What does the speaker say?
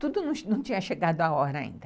Tudo não tinha chegado à hora ainda.